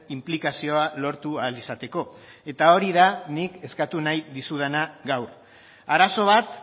inplikazioa lortu ahal izateko eta hori da nik eskatu nahi dizudana gaur arazo bat